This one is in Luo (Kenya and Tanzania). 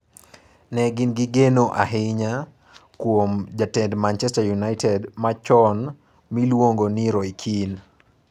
Ne gin gi geno ahinya kuom jatend Manchester United machon miluongo ni Roy Keane.